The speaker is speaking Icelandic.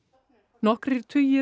nokkrir tugir